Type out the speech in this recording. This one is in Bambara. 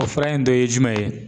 O fura in dɔ ye jumɛn ye ?